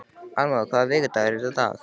Arnmóður, hvaða vikudagur er í dag?